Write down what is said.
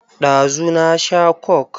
Ɗazu na sha coke.